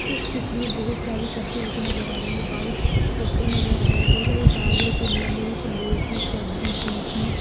इस चित्र में बहुत सारी सब्जी रखी नजर आ रही हैं व्हाइट पोस्टर नजर आ रहा है बहुत सारी गाजर शिमला मिर्च लोकी कद्दू गिलकी--